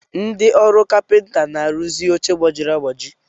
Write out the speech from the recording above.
Ndị ọrụ kapịnta na-arụzi oche gbajiri agbaji.